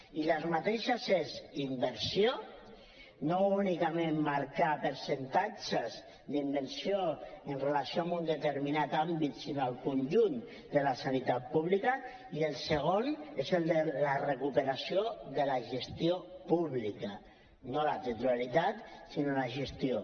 i aquestes són inversió no únicament marcar percentatges d’inversió amb relació a un determinat àmbit sinó al conjunt de la sanitat pública i la segona és la recuperació de la gestió pública no la titularitat sinó la gestió